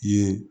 Ye